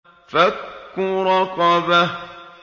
فَكُّ رَقَبَةٍ